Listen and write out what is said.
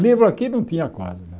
Livro aqui não tinha quase.